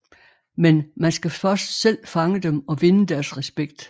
Men man skal først selv fange dem og vinde deres respekt